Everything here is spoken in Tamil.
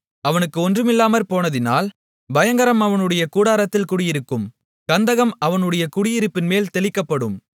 அவனுக்கு ஒன்றுமில்லாமற் போனதினால் பயங்கரம் அவனுடைய கூடாரத்தில் குடியிருக்கும் கந்தகம் அவனுடைய குடியிருப்பின்மேல் தெளிக்கப்படும்